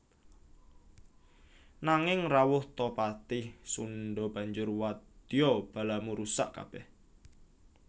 Nanging rawuh ta patih Sundha banjur wadya balamu rusak kabèh